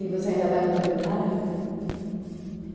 E você ainda vai no planetário?